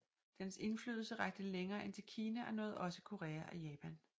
Dens indflydelse rakte længere end til Kina og nåede også Korea og Japan